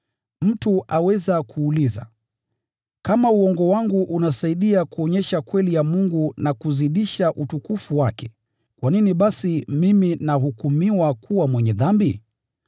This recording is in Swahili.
Mtu aweza kuuliza, “Kama uongo wangu unasaidia kuonyesha kweli ya Mungu na kuzidisha utukufu wake, kwa nini basi mimi nahukumiwa kuwa mwenye dhambi?”